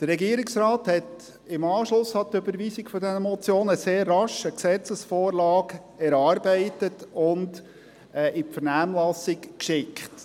Der Regierungsrat hat im Anschluss an die Überweisung dieser Motionen sehr rasch eine Gesetzesvorlage erarbeitet und in die Vernehmlassung geschickt.